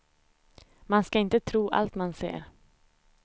Man ska inte tro allt man ser.